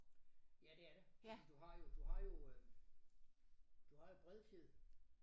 Ja det er det du du har du har jo øh du har jo Bredfjed